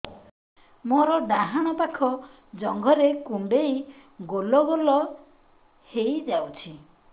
ମୋର ଡାହାଣ ପାଖ ଜଙ୍ଘରେ କୁଣ୍ଡେଇ ଗୋଲ ଗୋଲ ହେଇଯାଉଛି